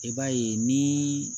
I b'a ye ni